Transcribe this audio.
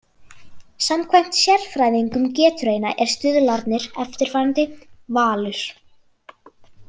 Samkvæmt sérfræðingum Getrauna eru stuðlarnir eftirfarandi: Valur